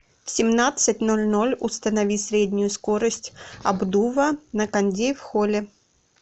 в семнадцать ноль ноль установи среднюю скорость обдува на кондее в холле